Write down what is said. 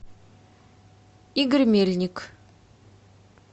игорь мельник